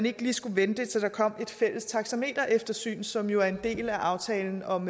ikke lige skulle vente til der kom et fælles taxametereftersyn som jo er en del af aftalen om